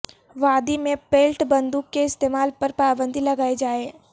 وادی میں پیلٹ بندوق کے استعمال پر پابندی لگائی جائے